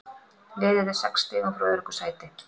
Liðið er sex stigum frá öruggu sæti.